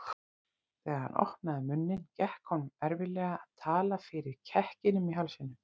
Þegar hann opnaði munninn gekk honum erfiðlega að tala fyrir kekkinum í hálsinum.